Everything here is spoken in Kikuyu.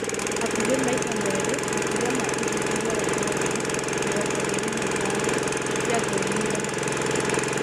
Hakũhĩ maĩta meerĩ makĩria ma ũthuthuria wa maũndũ (mĩrongo ĩĩrĩ na ithano) ciathũrimire mathabu.